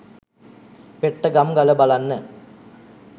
පෙට්ටගම් ගල බලන්න.